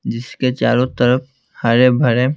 जिसके चारों तरफ हरे भरे--